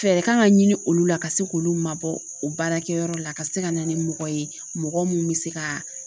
Fɛɛrɛ kan ka ɲini olu la ka se k'olu mabɔ baarakɛyɔrɔ la ka se ka na ni mɔgɔ ye mɔgɔ mun be se ka